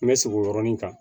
N bɛ segin o yɔrɔnin kan